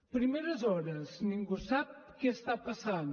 primeres hores ningú sap què passa